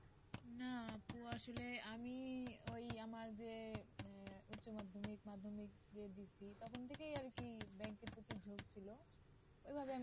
না আপু আসলে আমি ওই আমার যে আহ উচ্চমাধ্যমিক মাধ্যমিক যে দিসি তখন থেকেই আর কি ব্যাঙ্কের প্রতি যোগ ছিল ওইভাবে আমি